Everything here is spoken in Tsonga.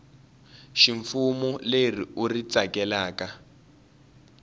ximfumo leri u ri tsakelaka